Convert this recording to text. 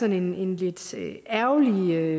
en lidt ærgerlig måde